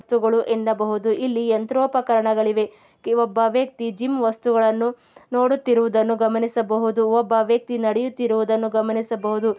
ಇಲ್ಲಿ ಯಂತ್ರೊ ಇಲ್ಲಿ ಯಂತ್ರೋಪಕರಣಗಳು ಇವೆ ಒಬ್ಬ ವ್ಯಕ್ತಿ ಜಿಮ್ ವಸ್ತುಗಳನ್ನು ನೋಡುತ್ತಿರುವುದನ್ನು ಒಬ್ಬ ವ್ಯಕ್ತಿ ನಡಿಯುತ್ತಿರುವುದನ್ನು ಗಮನಿಸ ಬಹುದು.